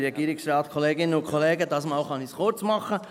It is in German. Diesmal kann ich es kurz machen: